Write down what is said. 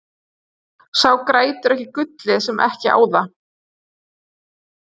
Sá grætur ekki gullið sem ekki á það.